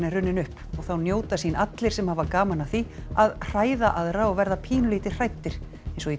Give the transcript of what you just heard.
er runnin upp og þá njóta sín allir sem hafa gaman af því að hræða aðra og verða pínulítið hræddir eins og í